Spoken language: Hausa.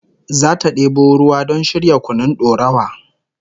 Zata debo ruwa don shirya kunun dorawa